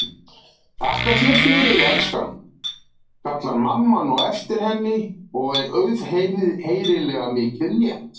Þakka þér fyrir, elskan, kallar mamma á eftir henni og er auðheyrilega mikið létt.